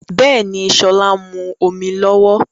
Bẹ́ẹ̀ni, sọlá ń mú omi lọ́wọ́